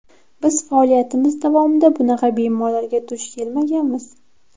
Biz faoliyatimiz davomida bunaqa bemorlarga duch kelmaganmiz.